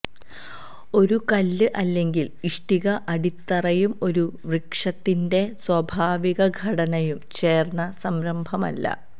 ഒരു കല്ല് അല്ലെങ്കിൽ ഇഷ്ടിക അടിത്തറയും ഒരു വൃക്ഷത്തിൻറെ സ്വാഭാവിക ഘടനയും ചേർന്ന സംരഭമല്ല